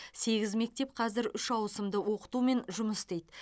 сегіз мектеп қазір үш ауысымды оқытумен жұмыс істейді